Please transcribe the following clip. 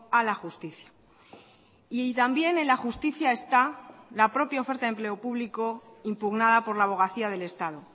a la justicia y también en la justicia está la propia oferta de empleo público impugnada por la abogacía del estado